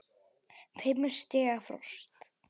Fimm stiga frost.